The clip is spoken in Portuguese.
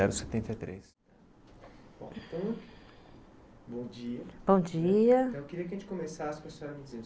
Bom dia,